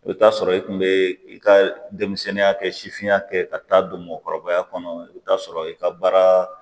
I bɛ taa sɔrɔ i kun bɛ i ka denmisɛnninya kɛ sifinnaka kɛ ka taa don mɔgɔkɔrɔbaya kɔnɔ i bɛ t'a sɔrɔ i ka baara